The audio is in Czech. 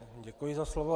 Děkuji za slovo.